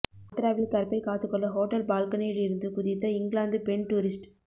ஆக்ராவில் கற்பை காத்துக் கொள்ள ஹோட்டல் பால்கனியில் இருந்து குதித்த இங்கிலாந்து பெண் டூரிஸ்ட்